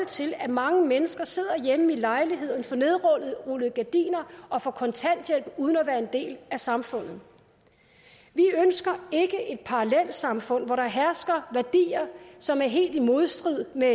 til at mange mennesker sidder hjemme i lejligheden for nedrullede gardiner og får kontanthjælp uden at være en del af samfundet vi ønsker ikke et parallelsamfund hvor der hersker værdier som er helt i modstrid med